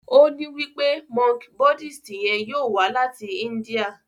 o ní wípé Monk Buddhist yén yóò wá láti India.